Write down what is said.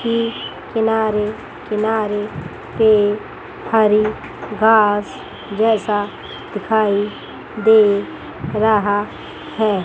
की किनारे किनारे पेड हरी घास जैसा दिखाई दे रहा है।